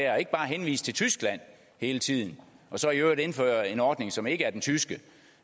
og ikke bare henvise til tyskland hele tiden og så i øvrigt indføre en ordning som ikke er den tyske